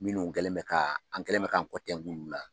Minnu kɛlen bɛ ka an kɛlen bɛ k'an kɔ tɛnku olu la